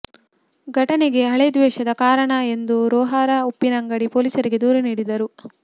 ಘಟನೆಗೆ ಹಳೆದ್ವೇಷವೇ ಕಾರಣ ಎಂದು ರೊಹಾರ ಉಪ್ಪಿನಂಗಡಿ ಪೊಲೀಸರಿಗೆ ದೂರು ನೀಡಿದ್ದರು